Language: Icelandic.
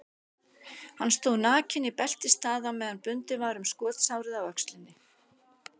Hann stóð nakinn í beltisstað á meðan bundið var um skotsárið á öxlinni.